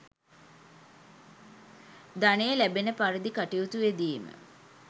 ධනය ලැබෙන පරිදි කටයුතු යෙදීම